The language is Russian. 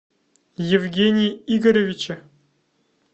евгения игоревича